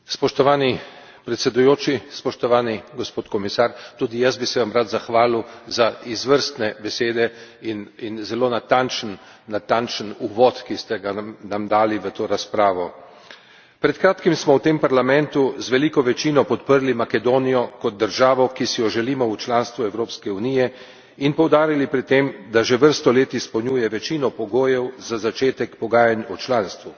Spoštovani predsedujoči, spoštovani gospod komisar, tudi jaz bi se vam rad zahvalil za izvrstne besede in zelo natančen uvod, ki ste ga nam dali v to razpravo. Pred kratkim smo v tem parlamentu z veliko večino podprli Makedonijo kot državo, ki si jo želimo v članstvu Evropske unije, in poudarili pri tem, da že vrsto let izpolnjuje večino pogojev za začetek pogajanj o članstvu.